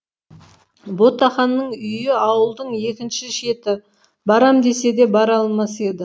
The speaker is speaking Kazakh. ботақанның үйі ауылдың екінші шеті барам десе де бара алмас еді